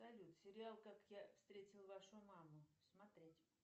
салют сериал как я встретил вашу маму смотреть